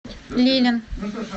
лилин